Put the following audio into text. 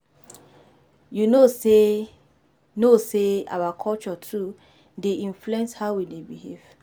You no know sey no know sey our culture too dey influence how we dey behave?